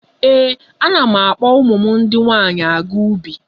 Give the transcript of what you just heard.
Ee, ana m akpọ ụmụ m ndị nwaanyị aga ubi.